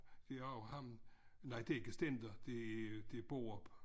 De har jo ham nej et ikke Stender det Borup